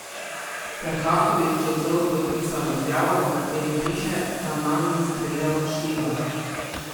Ferhatović je celo podpisal izjavo, v kateri piše, da nanj ni streljal Šljivar.